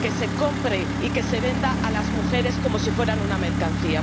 que se compre y que se venda a las mujeres como si fueran una mercancía.